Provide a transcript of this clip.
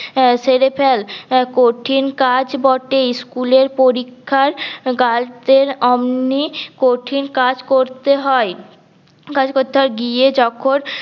আঃ সেরে ফেল কঠিন কাজ বটে ইস্কুলের পরীক্ষার গার্ড দরে অমনি কঠিন কাজ করতে হয় করতে হয় গিয়ে যখন